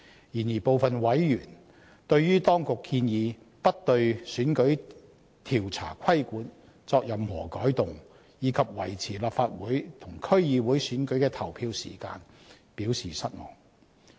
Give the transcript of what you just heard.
然而，當局建議不對選舉調查規管作任何改動，以及維持立法會和區議會選舉的投票時間，部分委員對此表示失望。